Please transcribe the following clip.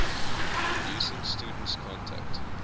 reducing students contact